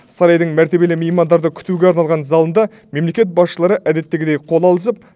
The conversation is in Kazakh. сарайдың мәртебелі меймандарды күтуге арналған залында мемлекет басшылары әдеттегідей қол алысып